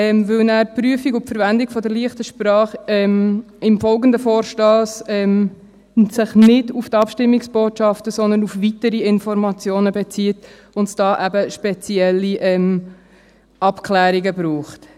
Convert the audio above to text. Denn die Prüfung und die Verwendung der «leichten Sprache» beziehen sich dann im folgenden Vorstoss nicht auf die Abstimmungsbotschaften, sondern auf weitere Informationen, und dafür braucht es eben spezielle Abklärungen.